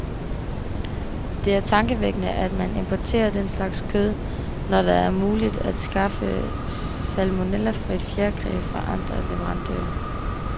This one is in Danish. Det er tankevækkende, at man importerer den slags kød, når det er muligt at skaffe salmonellafrit fjerkræ fra andre leverandører.